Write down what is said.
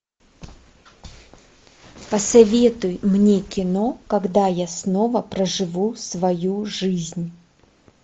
посоветуй мне кино когда я снова проживу свою жизнь